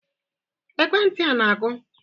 Ekwentị a na-akụ?